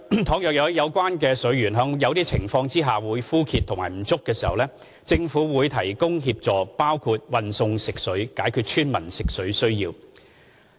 倘若有關水源在某些情況下枯竭或不足，政府會提供協助，包括運送食水，解決村民用水需要。